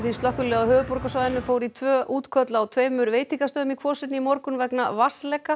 Slökkviliðið á höfuðborgarsvæðinu fór í tvö útköll á tveimur veitingastöðum í Kvosinni í morgun vegna vatnsleka